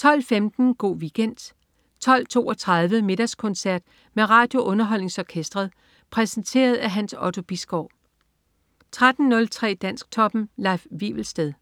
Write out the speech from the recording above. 12.15 Go' Weekend 12.32 Middagskoncert med RadioUnderholdningsOrkestret. Præsenteret af Hans Otto Bisgaard 13.03 Dansktoppen. Leif Wivelsted